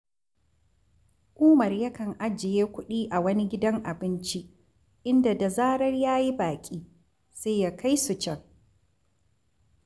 Umar yakan ajiye kuɗi a wani gidan abinci, inda da zarar ya yi baƙi, sai ya kai su can